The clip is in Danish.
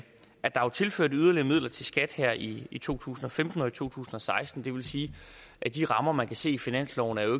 er tilført yderligere midler til skat her i i to tusind og femten og to tusind og seksten det vil sige at de rammer man kan se i finansloven jo